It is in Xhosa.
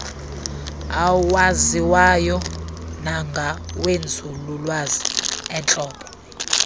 awaziwayo nangawenzululwazi eentlobo